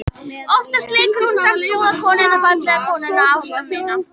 Oftast leikur hún samt góðu konuna, fallegu konuna, ástmeyna.